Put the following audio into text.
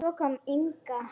Svo kom Inga.